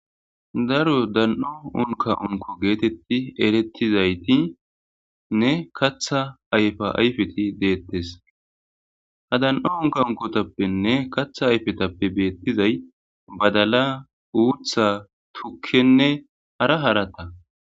daro dan'o unka unko geetetti erettizaytinne katha ayfa ayfeti deettes ha dan'o unka unkotappenne katha ayfetappe beettizay: badala,uutha,tukkenne,hara harata